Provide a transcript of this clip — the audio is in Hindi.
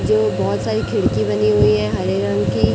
जो बहोत सारी खिड़की बनी हुई है हरे रंग की।